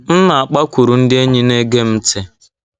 M na - akpakwuru ndị enyi na - ege m ntị.